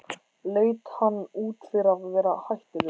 Leit hann út fyrir að vera hættulegur?